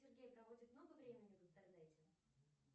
сергей проводит много времени в интернете